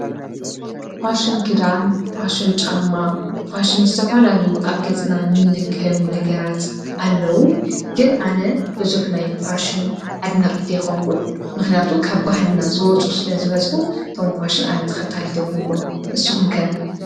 ፋሽን ክዳን ፣ፋሽን ጫማ ፋሽን ዝተፈላለዩ ኣብ ገፅና ንልከዮም ነገራት ኣለዉ ግን ኣነ ብዙሕ ናይ ፋሽን ኣድናቂት ኣይኮንኩን ፤ምክንያቱ ካብ ባህልና ዝወፁ ስለ ዝበዝሑ እቶም ፍሽን ኣነ ተከታሊት ኣይኮንኩን። ንስኩም ከ ?